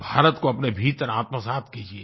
भारत को अपने भीतर आत्मसात् कीजिये